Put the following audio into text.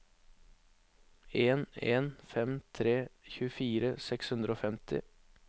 en en fem tre tjuefire seks hundre og femti